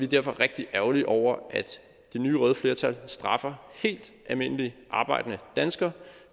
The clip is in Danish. derfor rigtig ærgerlige over at det nye røde flertal straffer helt almindelige arbejdende danskere